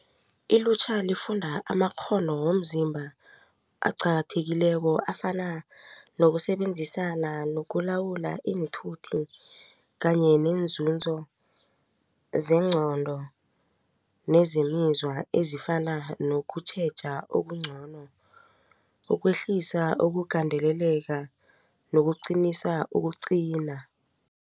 Ilutjha lifunda amakghono womzimba aqakathekileko afana nokusebenzisana nokulawula iinthuthi kanye nenzunzo zeengqondo nezemizwa ezifana nokutjheja okungcono ukwehlisa ukugandeleleka nokuqinisa ukuqina.